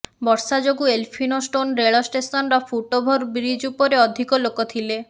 ବର୍ଷା ଯୋଗୁଁ ଏଲଫିନ୍ଷ୍ଟୋନ୍ ରେଳ ଷ୍ଟେସନର ଫୁଟ୍ ଓଭର ବ୍ରିଜ୍ ଉପରେ ଅଧିକ ଲୋକ ଥିଲେ